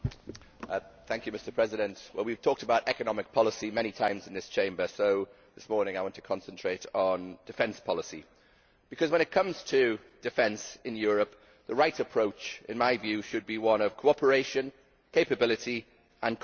Mr President, we have talked about economic policy many times in this Chamber so, this morning, I want to concentrate on defence policy because, when it comes to defence in Europe, the right approach in my view should be one of cooperation, capability and compatibility.